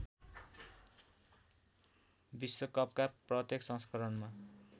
विश्वकपका प्रत्येक संस्करणमा